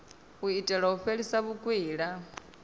u itela u fhelisa vhukwila